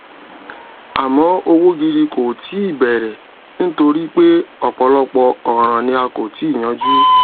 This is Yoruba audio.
àmọ òwò gidi kò tíì bẹrẹ nítorí pé ọpọlọpọ ọràn ni a kò tíì yanjú